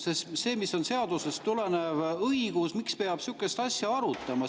Sest see, mis on seadusest tulenev õigus – miks peab sihukest asja arutama?